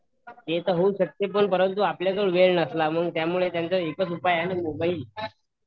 ते पण होऊ शकते पण आपल्याजवळ वेळ नसला तर त्यावर एकच उपाय आहे मोबाईल